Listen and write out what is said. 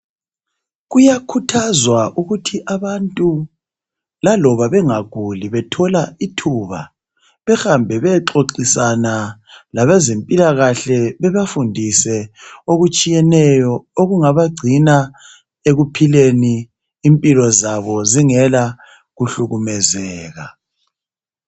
Kuyakhuthazwa ukuthi abantu laloba bengaguli bethola ithuba behambe beyexoxisana labezempilakahle bebafundise okutshiyeneyo okungabagcina ekuphileni impilo zabo zingela kuhlukumezeka.